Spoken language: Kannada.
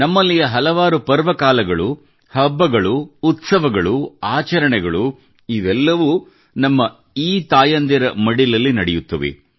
ನಮ್ಮಲ್ಲಿಯ ಹಲವಾರು ಪರ್ವಗಳು ಹಬ್ಬಗಳು ಉತ್ಸವಗಳು ಆಚರಣೆಗಳು ಇವೆಲ್ಲವೂ ನಮ್ಮ ಈ ತಾಯಂದಿರ ಮಡಿಲಲ್ಲಿ ನಡೆಯುತ್ತವೆ